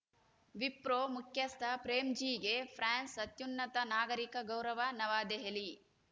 ವಿಪ್ರೋ ಮುಖ್ಯಸ್ಥ ಪ್ರೇಮ್‌ಜೀಗೆ ಫ್ರಾನ್ಸ್‌ ಅತ್ಯುನ್ನತ ನಾಗರಿಕ ಗೌರವ ನವದೆಹಲಿ